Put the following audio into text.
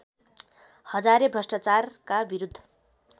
हजारे भ्रष्टाचारका विरुद्ध